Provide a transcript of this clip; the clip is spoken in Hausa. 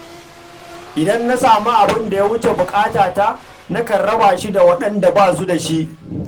Idan na sami abin da ya wuce buƙata, nakan raba shi da waɗanda ba su da shi.